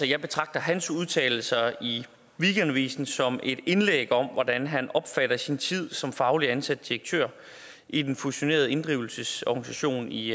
jeg betragter hans udtalelser i weekendavisen som et indlæg om hvordan han opfatter sin tid som fagligt ansat direktør i den fusionerede inddrivelsesorganisation i